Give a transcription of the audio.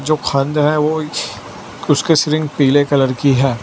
जो है वो उसके पीले कलर की है।